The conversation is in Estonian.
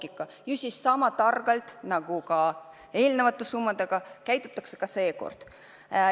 Ikkagi peaksime sama targalt nagu eelmiste summade kasutamisel käituma ka nüüd.